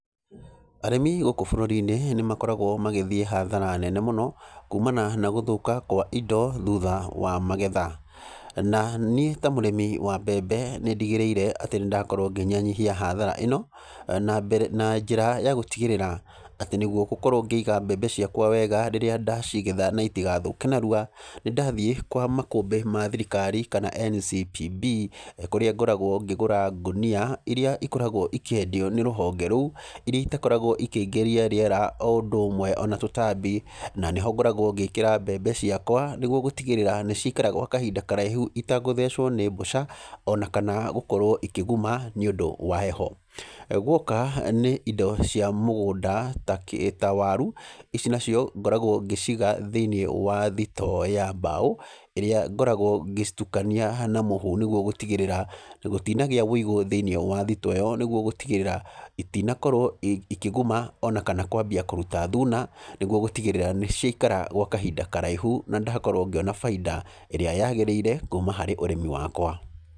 Arĩmi gũkũ bũrũri-inĩ nĩ makoragwo magĩthiĩ hathara nene mũno, kumana na gũthũka kwa indo thutha wa magetha. Na niĩ ta mũrĩmi wa mbembe nĩ ndigĩrĩire atĩ nĩ ndakorwo ngĩnyihanyihia hathara ĩno, na mbere na njĩra ya gũtigĩrĩra atĩ nĩguo gũkorwo ngĩiga mbembe ciakwa wega rĩrĩa ndacigetha na itigathũke narua, nĩ ndathiĩ kwa makũmbĩ ma thirikari kana NCPB, kũrĩa ngoragwo ngĩgũra ngũnia irĩa ikoragwo ikĩendio nĩ rũhonge rũo, irĩa itakoragwo ikĩingĩria rĩera o ũndũ ũmwe ona tũtambi. Na nĩho ngoragwo ngĩkĩra mbembe ciakwa, nĩguo gũtigĩrĩra nĩ ciaikara gwa kahinda karaihu itagũthecwo nĩ mbũca, ona kana gũkorwo ikĩguma nĩ ũndũ wa heho. Guoka nĩ indo cia mũgũnda ta ta waru, ici nacio ngoragwo ngĩciiga thĩiniĩ wa thitoo ya mbaũ, ĩrĩa ngoragwo ngĩcitukania na mũhu nĩguo gũtigĩrĩra gũtinagĩa wĩigo thĩiniĩ wa thitoo ĩyo. Nĩguo gũtigĩrĩra itinakorwo ikĩguma ona kana kwambia kũruta thuna, nĩguo gũtigĩrĩra nĩ ciaikara gwa kahinda karaihu na ndakorwo ngĩona bainda ĩrĩa yagĩrĩire kuuma harĩ ũrĩmi wakwa.